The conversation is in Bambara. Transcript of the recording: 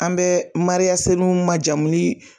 An bɛ ma jamu ni.